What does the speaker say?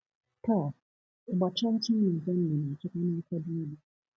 Taa, ịgba chaa chaa na Germany na-achịkwa na ọkwa dị elu.